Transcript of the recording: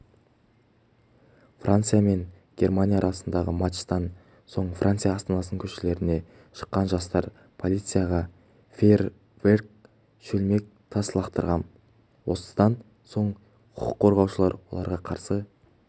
франция мен германия арасындағы матчтан соң француз астанасының көшелеріне шыққан жастар полицияға фейерверк шөлмек тас лақтырған осыдан соң құқыққорғаушылар оларға қарсы